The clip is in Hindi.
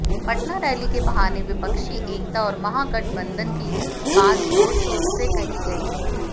पटना रैली के बहाने विपक्षी एकता और महागठबंधन की बात जोरशोर से कही गई